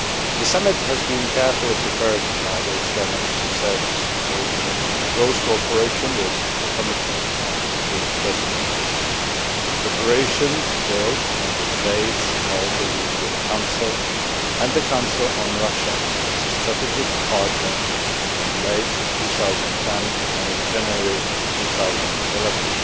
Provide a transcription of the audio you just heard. The summit has been carefully prepared by the External Action Service working in close cooperation with the Commission and the two Presidents, preparations built on the debates held in the European Council and the Council, on Russia as a Strategic Partner in late 2010 and in January 2011,